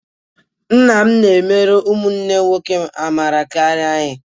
Nna m na-emere ụmụnne m nwoke amara karịa anyị